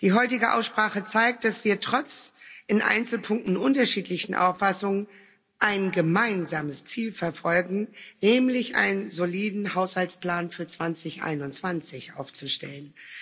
Die heutige Aussprache zeigt, dass wir trotz in Einzelpunkten unterschiedlichen Auffassungen ein gemeinsames Ziel verfolgen, nämlich einen soliden Haushaltsplan für 2021 aufzustellen.